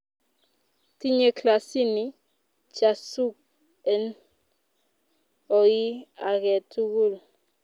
tinye klasini chasuk en oii aketukul